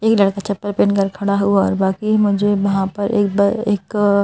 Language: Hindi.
एक लड़का चप्पल पहन कर खड़ा हुआ और बाकी मुझे वहाँ पर एक ब एक--